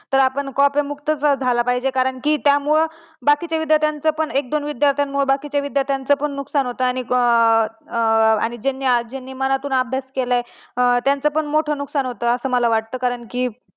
तर आपण कॉप्या मुक्त झाला पाहिजे कारण की त्यामुळे बाकीच्या विद्यार्थ्याचं पण एक दोन विद्यार्थी मुळे बाकीच्यांचं पण नुकसान होत आणि ज्यांनी मनातून अभ्यास केलाय त्यांचं पण मोठं नुकसान होत असं मला वाटत